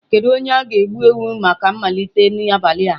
Kedu onye ga-egbu ewu a maka mmalite n'abalị a?